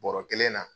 Bɔrɔ kelen na